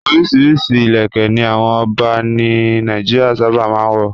Oríṣiríṣi ìlẹ̀kẹ́ ni àwọn ọba ní Nàìjíríà sábà máa ń wọ̀.